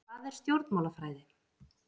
Hvað er stjórnmálafræði?